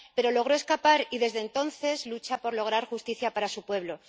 Pero logró escapar y desde entonces lucha por lograr justicia para su pueblo.